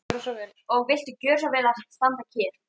Og viltu gjöra svo vel að standa kyrr.